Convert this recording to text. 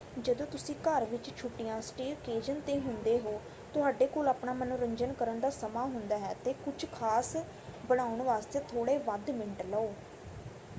ਜਦੋਂ ਤੁਸੀਂ ਘਰ ਵਿੱਚ ਛੁੱਟੀਆਂਸਟੇਅਕੇਜ਼ਨ ‘ਤੇ ਹੁੰਦੇ ਹੋ ਤੁਹਾਡੇ ਕੋਲ ਆਪਣਾ ਮਨੋਰੰਜਨ ਕਰਨ ਦਾ ਸਮਾਂ ਹੁੰਦਾ ਹੈ ਅਤੇ ਕੁਝ ਖਾਸ ਬਣਾਉਣ ਵਾਸਤੇ ਥੋੜੇ ਵੱਧ ਮਿੰਟ ਲਓ।